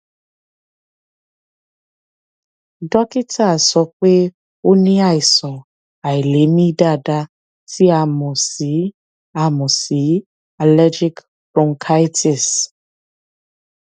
dókítà sọ pé ó ní àìsàn àìlèmí dáadáa tí a mọ sí a mọ sí allergic bronchitis